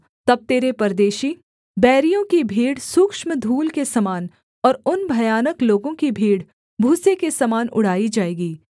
तब तेरे परदेशी बैरियों की भीड़ सूक्ष्म धूल के समान और उन भयानक लोगों की भीड़ भूसे के समान उड़ाई जाएगी